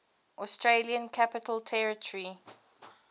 australian capital territory